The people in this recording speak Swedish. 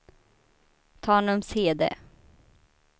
Tanumshede